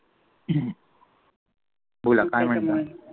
बोला काय म्हणताय?